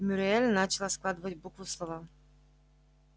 мюриель начала складывать буквы в слова